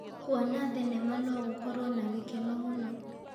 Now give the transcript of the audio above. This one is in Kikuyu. Kuona thenema no gũkorwo na gĩkeno mũno.